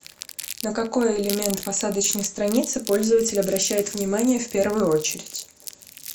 на какой элемент посадочной страницы пользователь обращает внимание в первую очередь